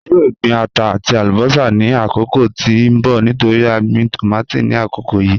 A yoo gbin ata ati alubosa ni akoko ti n bọ nitori a gbin tomati ni akoko yii